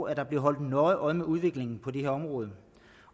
at der bliver holdt nøje øje med udviklingen på det her område